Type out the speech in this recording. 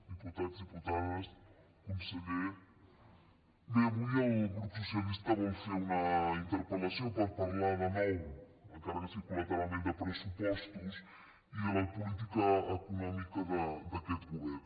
diputats diputades conseller bé avui el grup socialista vol fer una interpel·lació per parlar de nou encara que sigui col·lateralment de pressupostos i de la política econòmica d’aquest govern